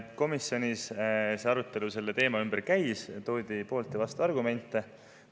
Komisjonis arutelu selle teema üle käis, toodi poolt‑ ja vastuargumente.